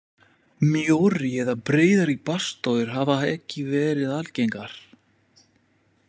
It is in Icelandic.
Mjórri eða breiðari baðstofur hafa ekki verið algengar.